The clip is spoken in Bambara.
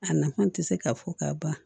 A nafan tɛ se ka fɔ ka ban